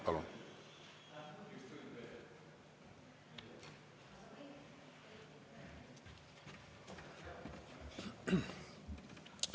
Palun!